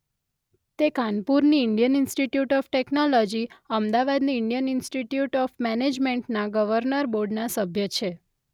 તે કાનપુરની Indian institute of technology; અમદાવાદની ઈન્ડિયન ઈન્સ્ટિટયુટ ઓફ મેનેજમેન્ટના ગર્વનર બોર્ડના સભ્ય છે.